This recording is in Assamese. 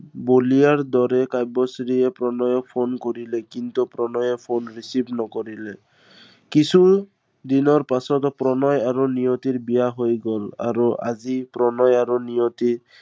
বলিয়াৰ দৰে কাব্যশ্ৰীয়ে প্ৰণয়ক phone কৰিলে। কিন্তু প্ৰণয়ে phone receive নকৰিলে। কিছু, দিনৰ পিছত প্ৰণয় আৰু নিয়তিৰ বিয়া হৈ গল। আৰু আজি প্ৰণয় আৰু নিয়তি